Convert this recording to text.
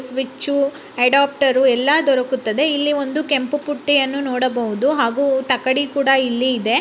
Switch adapter ಎಲ್ಲ ದೊರಕುತ್ತದೆ ಇಲ್ಲಿ ಒಂದು ಕೆಂಪು ಪುಟ್ಟಿಯನ್ನು ನೋಡಬಹುದು ಹಾಗೂ ತಕ್ಕಡಿ ಕೂಡ ಇಲ್ಲಿ ಇದೆ.